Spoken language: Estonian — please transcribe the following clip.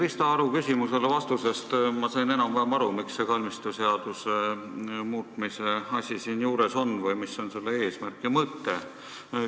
Vastusest Krista Aru küsimusele sain ma enam-vähem aru, miks see kalmistuseaduse muutmise asi siin on või mis on selle eesmärk ja mõte.